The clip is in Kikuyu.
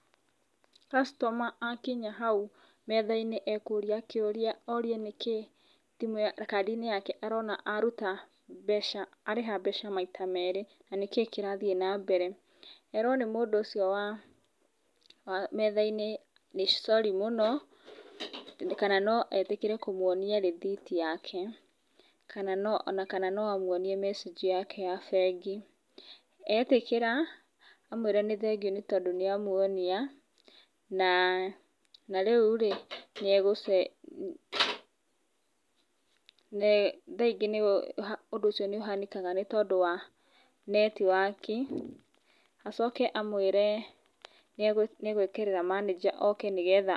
Customer akinya hau metha-inĩ, ekũria kĩuria, orie nĩkĩ kandi-inĩ yake arona aruta, arĩha mbeca maita merĩ, na nĩkĩ kĩrathiĩ na mbere. Erwo nĩ mũndũ ũcio wa metha-inĩ nĩ sorry mũno, kana no etĩkĩre kũmuonia rithiti yake, na kana no amuonie message yake ya bengi. Etĩkĩra amũĩre nĩ thengiũ, nĩ tondũ nĩamuonia, na rĩu rĩ nĩegũ, thaa ingĩ ũndũ ũcio nĩũhanĩkaga nĩũndũ wa network. Acoke amũĩre nĩagwĩkĩrĩra manager oke nĩgetha….